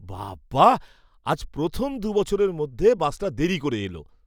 বাব্বা, আজ প্রথম দু বছরের মধ্যে বাসটা দেরি করে এলো!